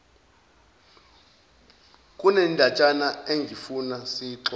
kunendatshana engifuna siyixoxe